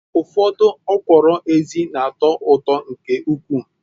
Ufodu okwuru ezi na-ato uto nke ukwu